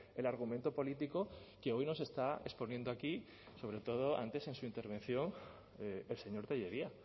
el argumento político que hoy nos está exponiendo aquí sobre todo antes en su intervención el señor tellería